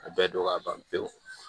A bɛɛ don ka ban pewu